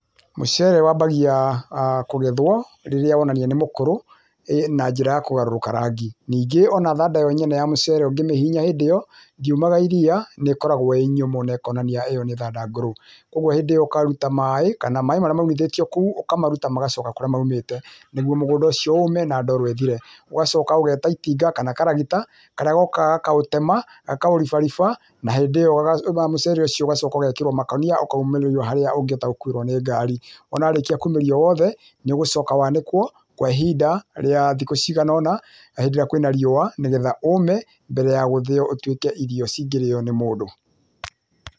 Mũcere wambagia kũgethwo rĩrĩa wonania nĩ mũkũrũ [ĩĩ] na njĩra ya kũgarũrũka rangi, ningĩ o na thanda yo nyene ya mũcere ũngĩ mĩhihinya hĩndĩ ĩyo ndiumaga iria nĩkoragwo ĩĩ nyũmũ na ĩkonania ĩyo nĩ thanda ngũrũ. Kwoguo hĩndĩ ĩyo ũkaruta maĩ, kana maĩ marĩa maunithĩtio kũu, ũkamaruta magacoka kũrĩa maumĩte nĩguo mũgũnda ũcio ũũme na ndoro ĩthire .‎Ũgacoka ũgeta itinga kana karagita karĩa gokaga gakaũtema gakaũribariba na hĩndĩ ĩyo mũcere ũcio ũgacoka ũgekĩrwo makũnia ũkaumĩrĩrio harĩa ũngĩhota gũkuuĩrwo nĩ ngari. Wona warĩkia kumĩria woothe nĩ ũgũcoka wanĩkwo kwa ihinda rĩa thikũ ciganona na hĩndĩ ĩrĩa kwĩna riũa, nĩ getha ũme mbere ya gũthĩo ũtuĩke irio cingĩrĩo nĩ mũndũ.